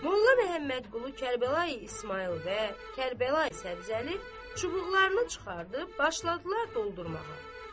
Molla Məmmədqulu Kərbəlayı İsmayıl və Kərbəlayı Səbzəli çubuqlarını çıxarıb başladılar doldurmağa.